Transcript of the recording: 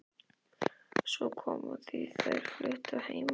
Svo kom að því að þær fluttu að heiman.